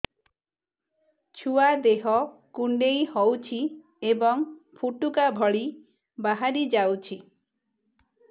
ଛୁଆ ଦେହ କୁଣ୍ଡେଇ ହଉଛି ଏବଂ ଫୁଟୁକା ଭଳି ବାହାରିଯାଉଛି